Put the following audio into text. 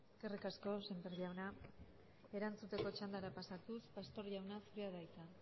eskerrik asko sémper jauna erantzuteko txandara pasatuz pastor jauna zurea da hitza